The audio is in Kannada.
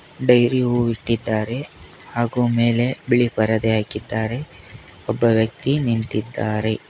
ಡೈರಿ ಹೊ ಇಟ್ಟಿದ್ದಾರೆ ಹಾಗೂ ಮೇಲೆ ಬಿಳಿ ಬರದೇ ಹಾಕಿದ್ದಾರೆ ಒಬ್ಬ ವ್ಯಕ್ತಿ ನಿಂತಿದ್ದಾರೆ.